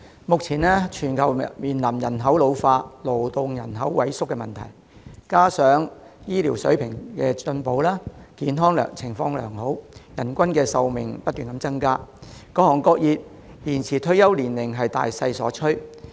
目前全球面臨人口老化、勞動人口萎縮的問題，加上醫療水平進步，人們健康情況良好，人均壽命不斷增加，各行各業延展退休年齡已是大勢所趨。